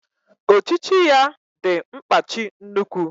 Ochichi ya di nkpachi nnukwu